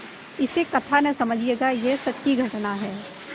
इसे कथा न समझिएगा यह सच्ची घटना है